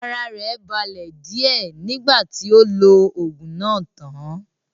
Ara rẹ̀ balẹ̀ díẹ̀ nígbà tí ó lo oògùn náà tán